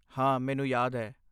ਹਾਂ, ਮੈਨੂੰ ਯਾਦ ਹੈ।